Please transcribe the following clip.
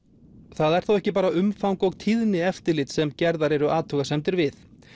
það er þó ekki bara umfang og tíðni eftirlits sem gerðar eru athugasemdir við